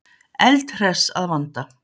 Eldhress að vanda.